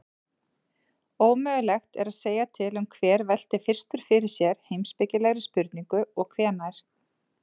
Ómögulegt er að segja til um hver velti fyrstur fyrir sér heimspekilegri spurningu og hvenær.